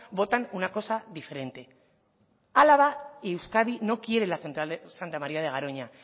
votan una cosa diferente álava y euskadi no quieren la central de santa maría de garoña